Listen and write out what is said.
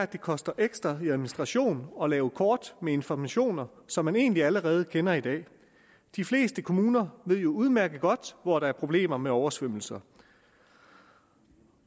det koster ekstra i administration at lave kort med informationer som man egentlig allerede kender i dag de fleste kommuner ved jo udmærket godt hvor der er problemer med oversvømmelser